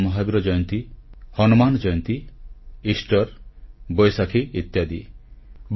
ଭଗବାନ ମହାବୀର ଜୟନ୍ତୀ ହନୁମାନ ଜୟନ୍ତୀ ଇଷ୍ଟର ବୈଶାଖୀ ଇତ୍ୟାଦି